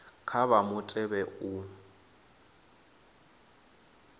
vha kha mutevhe wa u